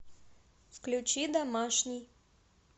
включи домашний